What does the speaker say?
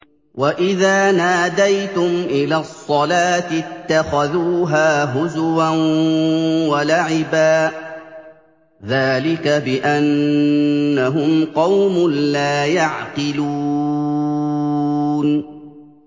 وَإِذَا نَادَيْتُمْ إِلَى الصَّلَاةِ اتَّخَذُوهَا هُزُوًا وَلَعِبًا ۚ ذَٰلِكَ بِأَنَّهُمْ قَوْمٌ لَّا يَعْقِلُونَ